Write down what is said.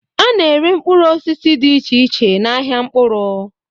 A na-ere mkpụrụ osisi dị iche iche n'ahịa mkpụrụ.